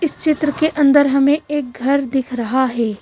इस चित्र के अंदर हमें एक घर दिख रहा है।